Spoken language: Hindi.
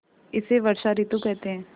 इसे वर्षा ॠतु कहते हैं